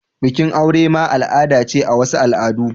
Bikin aure ma al'ada ce a wasu al'adu.